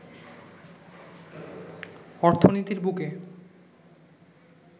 অর্থনীতির বুকে